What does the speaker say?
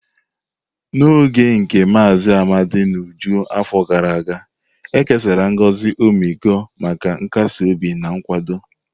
N'oge nke Mazi Amadi n'uju afọ gara aga, e kesara ngozi ọmịiko maka nkasi obi na nkwado.